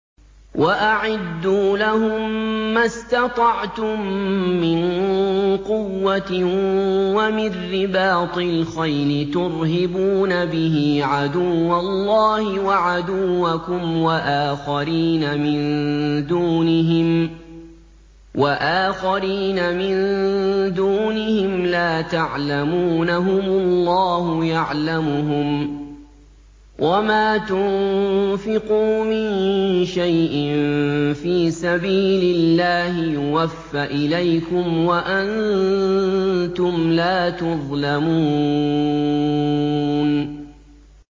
وَأَعِدُّوا لَهُم مَّا اسْتَطَعْتُم مِّن قُوَّةٍ وَمِن رِّبَاطِ الْخَيْلِ تُرْهِبُونَ بِهِ عَدُوَّ اللَّهِ وَعَدُوَّكُمْ وَآخَرِينَ مِن دُونِهِمْ لَا تَعْلَمُونَهُمُ اللَّهُ يَعْلَمُهُمْ ۚ وَمَا تُنفِقُوا مِن شَيْءٍ فِي سَبِيلِ اللَّهِ يُوَفَّ إِلَيْكُمْ وَأَنتُمْ لَا تُظْلَمُونَ